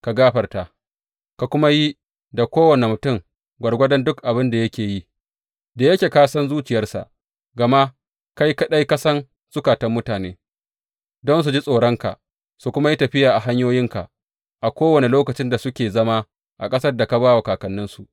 Ka gafarta, ka kuma yi da kowane mutum gwargwadon duk abin da yake yi, da yake ka san zuciyarsa gama kai kaɗai ka san zukatan mutane, don su ji tsoronka su kuma yi tafiya a hanyoyinka a kowane lokacin da suke zama a ƙasar da ka ba wa kakanninsu.